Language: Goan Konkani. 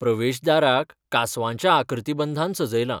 प्रवेश दाराक कांसवाच्या आकृतीबंधान सजयलां.